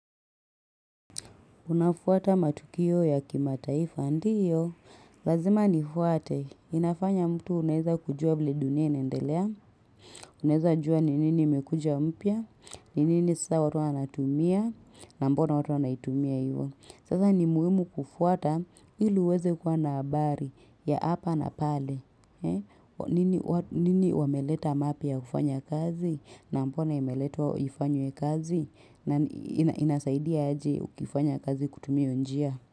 Unafuata matukio ya kimataifa ndiyo, lazima ni fuate, inafanya mtu unaeza kujua vile dunia inaendelea, unaezajua ni nini imekuja mpia, ni nini sasa watu wanatumia, na mbona watu wanaitumia hivyo. Sasa ni muhimu kufuata ili uweze kwa na habari ya hapa na pale. Nini wameleta mapya ufanya kazi na mbona emeletwa ifanywe kazi na inasaidia aje ukifanya kazi kutumia hio njia.